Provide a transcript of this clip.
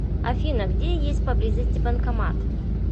афина где есть поблизости банкомат